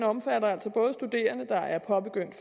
omfatter altså både studerende der har påbegyndt